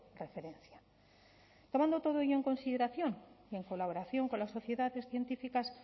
referenciabatg tomando todo ello en consideración y en colaboración con las sociedades científicas